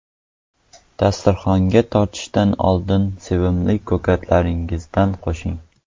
Dasturxonga tortishdan oldin sevimli ko‘katlaringizdan qo‘shing.